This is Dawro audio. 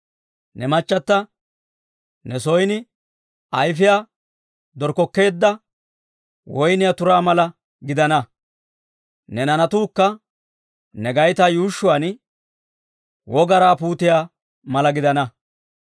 Ne machata ne son ayifiyaa dorkkokkeedda, woyniyaa turaa mala gidana. Ne naanatuukka ne gaytaa yuushshuwaan, wogaraa puutiyaa mala gidana.